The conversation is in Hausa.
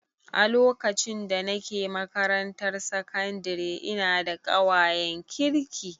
A lokacin da nake makarantar sakandare ina da ƙawayen kirki